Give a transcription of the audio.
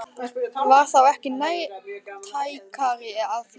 Var þá ekki nærtækara að flytja?